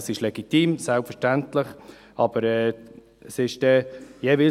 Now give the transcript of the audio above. Man kann selbstverständlich sagen, dies sei legitim.